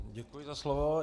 Děkuji za slovo.